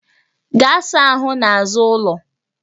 Gaa saa ahụ n'azụ ụlọ!